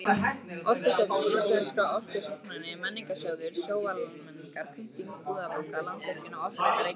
Orkustofnun, Íslenskar orkurannsóknir, Menningarsjóður, Sjóvá-Almennar, Kaupþing-Búnaðarbanki, Landsvirkjun, Orkuveita Reykjavíkur